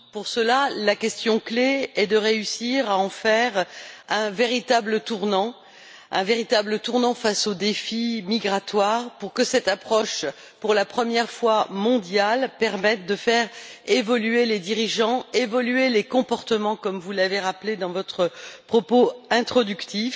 Pour cela, la question clé est de réussir à en faire un véritable tournant face aux défis migratoires pour que cette approche, pour la première fois mondiale, permette de faire évoluer les dirigeants, évoluer les comportements, comme vous l'avez rappelé dans votre propos introductif.